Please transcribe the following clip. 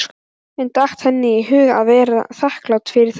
En datt henni í hug að vera þakklát fyrir það?